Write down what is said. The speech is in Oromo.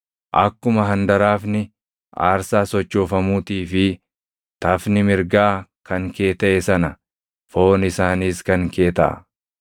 Akkuma handaraafni aarsaa sochoofamuutii fi tafni mirgaa kan kee taʼe sana foon isaaniis kan kee taʼa.